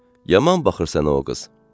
"Yaman baxırsan o qız.